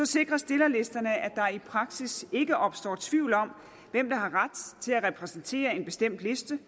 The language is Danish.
sikrer stillerlisterne at der i praksis ikke opstår tvivl om hvem der har ret til at repræsentere en bestemt liste